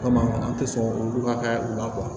Komi a tɛ sɔn olu ka ka u la